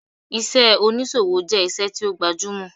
Iṣẹ́ oníṣòwò jẹ́ iṣẹ́ tí ó gbajúmọ̀